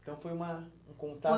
Então foi uma um